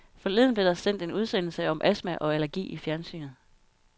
Forleden blev der sendt en udsendelse om astma og allergi i fjernsynet.